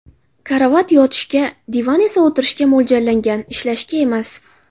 Karavot yotishga, divan esa o‘tirishga mo‘ljallangan, ishlashga emas.